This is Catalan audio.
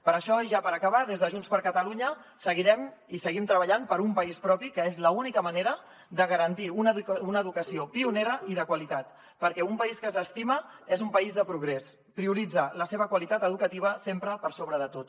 per això i ja per acabar des de junts per catalunya seguirem i seguim treballant per un país propi que és l’única manera de garantir una educació pionera i de qualitat perquè un país que s’estima és un país de progrés prioritza la seva qualitat educativa sempre per sobre de tot